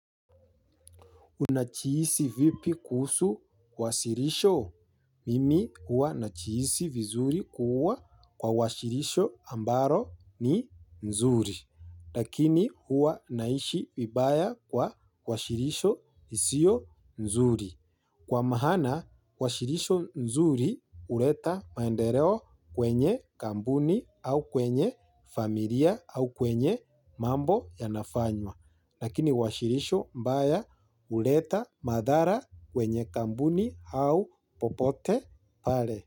Unajihisi vipi kuhusu wasilisho? Mimi huwa najihisi vizuri kuwa kwa wasilisho ambalo ni nzuri. Lakini hua nahisi vibaya kwa wasilisho lisilo nzuri. Kwa maana, wasilusho nzuri huleta maendeleo kwenye kampuni, au kwenye familia au kwenye mambo yanafanywa. Lakini wasilisho mbaya huleta madhara kwenye kampuni au popote pale.